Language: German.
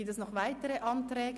Gibt es noch weitere Anträge?